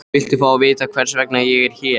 Viltu fá að vita hvers vegna ég er hér?